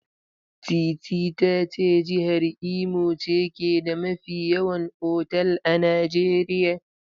Teetea ta ce jihar Imo ce ke da mafi yawan otal a Najeriya.